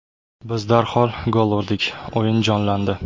Biz darhol gol urdik, o‘yin jonlandi.